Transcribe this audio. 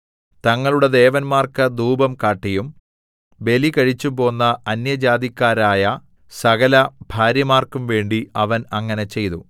തങ്ങളുടെ ദേവന്മാർക്ക് ധൂപം കാട്ടിയും ബലികഴിച്ചുംപോന്ന അന്യജാതിക്കാരായ സകലഭാര്യമാർക്കും വേണ്ടി അവൻ അങ്ങനെ ചെയ്തു